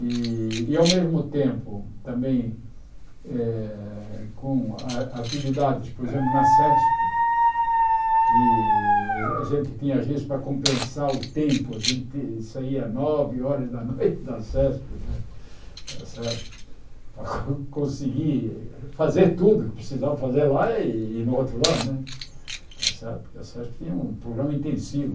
E, e ao mesmo tempo, também eh com atividades, por exemplo, na Sesp, que a gente tinha, às vezes, para compensar o tempo, a gente saía nove horas da noite da Sesp né está certo, para conseguir fazer tudo o que precisava fazer lá e no outro lado né, porque a Sesp tinha um programa intensivo.